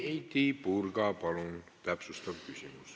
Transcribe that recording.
Heidy Purga, palun täpsustav küsimus!